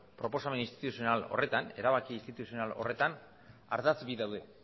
erabaki instituzional horretan ardatz bi daude